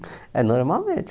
É normalmente